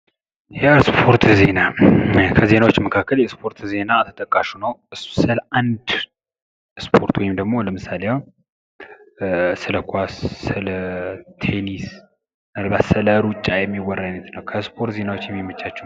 የስፖርት ዜና ከዜናዎች መካከል የስፖርት ዜና ተጠቃሽ ነው። ስለ አንድ ስፖርት ወይንም ለምሳሌ ስለ ኳስ፣ ስለ ቴንስ፣ ስለ ሩጫ የሚያወራ አይነት ነው። ከስፖርት ዜና የሚመቻቹ